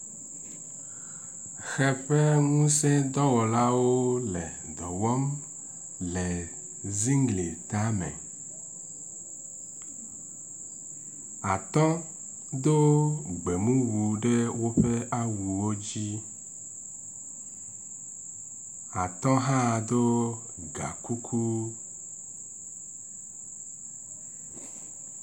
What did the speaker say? Ʋe ƒe ŋusedɔwɔlawo le dɔ wɔm le zigli tame. Atɔ do gbemuɖu ɖe woƒe awuwo dzi. Atɔ hã ɖo gakuku